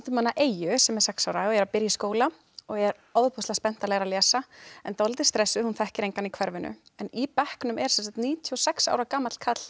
Eyju sem er sex ára og er að byrja í skóla og er ofboðslega spennt að læra að lesa en dálítið stressuð hún þekkir engan í hverfinu en í bekknum er sem sagt níutíu og sex ára gamall karl